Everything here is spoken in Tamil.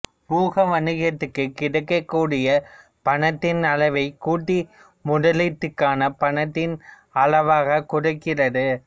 ஊகவணிகத்துக்குக் கிடைக்கக்கூடிய பணத்தின் அளவைக் கூட்டி முதலீட்டுக்கான பணத்தின் அளவைக் குறைக்கிறது